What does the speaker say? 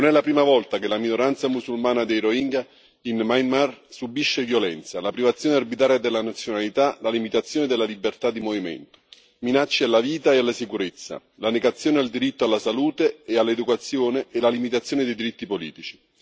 Non è la prima volta che la minoranza musulmana dei rohingya in Myanmar subisce violenza la privazione arbitraria della nazionalità, la limitazione della libertà di movimento, minacce alla vita e alla sicurezza, la negazione del diritto alla salute e all'educazione e la limitazione dei diritti politici.